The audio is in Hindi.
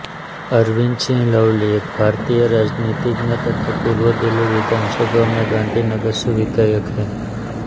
अरविंदर सिंह लवली एक भारतीय राजनीतिज्ञ तथा पूर्व दिल्ली विधानसभा में गांधीनगर से विधायक हैं